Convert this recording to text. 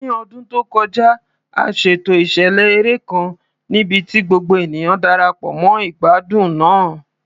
Ní ọdún tó kọjá, a ṣètò ìṣẹ̀lẹ̀ eré kan níbi tí gbogbo ènìyàn Darapọ̀ mọ́ ìgbádùn náà.